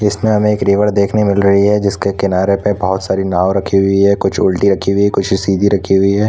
इस में रिवर देखने मिल रही है जिस के किनारे पर बहोत सारी नाव रखी हुई है वहाँ कुछ उल्टी रखे हुए सीधी रखी हुई है।